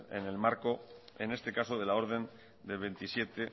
en el marco en este caso de la orden del veintisiete